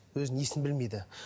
өзінің есін білмейді